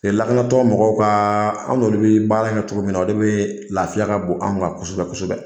lakanatɔ mɔgɔw ka, an n'olu bɛ baara kɛ cogo min na o de bɛ lafiya ka bon anw kan kosɛbɛ kosɛbɛ.